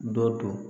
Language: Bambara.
Dɔ do